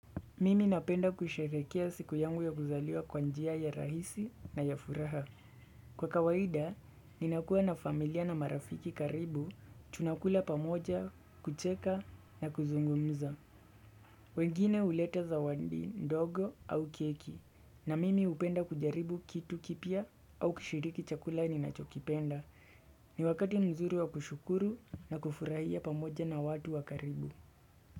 Mimi napenda kusherehekea siku yangu ya kuzaliwa kwa njia ya rahisi na ya furaha. Kwa kawaida, ninakua na familia na marafiki karibu, tunakula pamoja, kucheka na kuzungumza. Wengine huleta zawadi, ndogo au keki. Na mimi hupenda kujaribu kitu kipya au kushiriki chakula ninachokipenda. Ni wakati mzuri wa kushukuru na kufurahia pamoja na watu wa karibu.